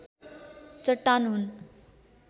चट्टान हुन्।